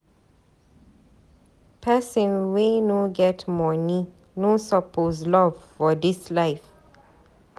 Pesin wey no get moni no suppose love for dis life.